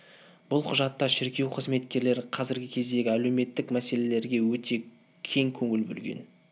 бұл құжатта шіркеу қызметкерлері қазіргі кездегі әлеуметтік мәселелерге өте кең көңіл бөлген